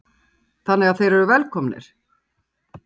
Heimir: Þannig að þeir eru velkomnir?